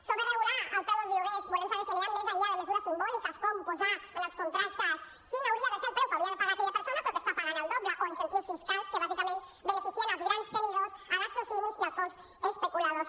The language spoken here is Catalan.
sobre regular el preu dels lloguers volem saber si aniran més enllà de mesures simbòliques com posar en els contractes quin hauria de ser el preu que hauria de pagar aquella persona però que està pagant el doble o incentius fiscals que bàsicament beneficien els grans tenidors les socimi i els fons especuladors